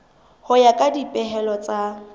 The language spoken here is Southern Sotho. ho ya ka dipehelo tsa